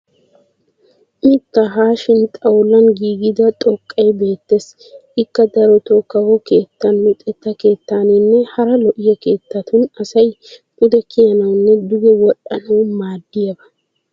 Mittaa haashin xawulan giigida xoqqay beettes. Ikka darotoo kawo keettan luxetta keettaninne hara lo'iyaa keettatun asay pude kiyanawunne duge wodhdhanawu maaddiyaaba.